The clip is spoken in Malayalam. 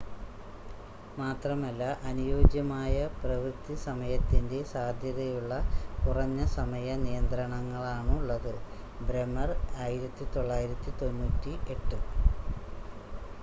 മാത്രമല്ല അനുയോജ്യമായ പ്രവൃത്തി സമയത്തിന്റെ സാധ്യതയുള്ള കുറഞ്ഞ സമയ നിയന്ത്രണങ്ങളാണുള്ളത്. ബ്രെമർ 1998